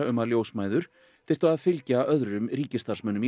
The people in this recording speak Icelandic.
um að ljósmæður þyrftu að fylgja öðrum ríkisstarfsmönnum